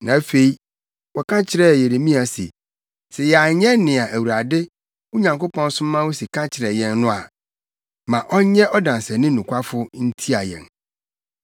Na afei, wɔka kyerɛɛ Yeremia se, “Sɛ yɛanyɛ nea Awurade, wo Nyankopɔn soma wo se ka kyerɛ yɛn no a, ma ɔnyɛ ɔdanseni nokwafo ntia yɛn.